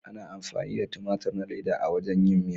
Ana amfani da tumatur na leda a wajen yin miya.